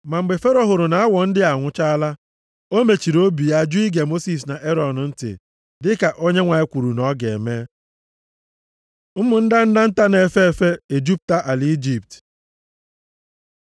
Ma mgbe Fero hụrụ na awọ ndị a anwụchaala, o mechiri obi ya jụ ige Mosis na Erọn ntị, dịka Onyenwe anyị kwuru na ọ ga-eme. Ụmụ ndanda nta na-efe efe ejupụta ala Ijipt